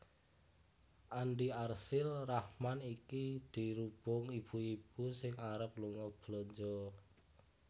Andi Arsyil Rahman iki dirubung ibu ibu sing arep lunga belanja